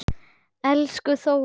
Elsku Þórunn.